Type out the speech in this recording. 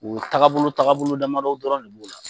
O tagabolo tagabolo damadɔw dɔrɔn de b'o la.